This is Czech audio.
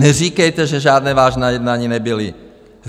Neříkejte, že žádná vážná jednání nebyla.